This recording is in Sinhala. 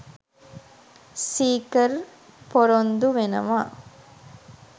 සීකර් පොරොන්දු වෙනවා